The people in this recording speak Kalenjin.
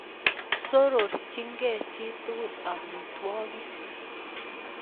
Surukchinikee chitugul amitwokik